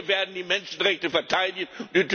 Wir werden die Menschenrechte verteidigen!